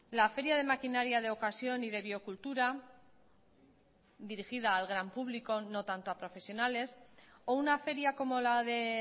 la feria de maquinaria de ocasión y de biocultura dirigida al gran público no tanto a profesionales o una feria como la de